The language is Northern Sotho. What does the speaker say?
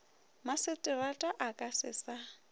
maseterata a ka se sa